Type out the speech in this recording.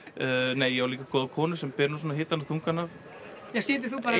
nei ég á nú líka góða konu sem ber svona hitann og þungann af já situr þú bara